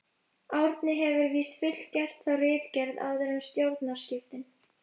Árni hefur víst fullgert þá ritgerð, áður en stjórnarskiptin